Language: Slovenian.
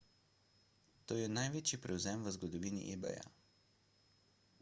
to je največji prevzem v zgodovini ebaya